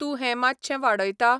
तूं हें मात्शें वाडयता?